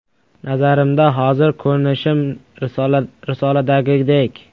Nazarimda, hozir ko‘rinishim risoladagidek.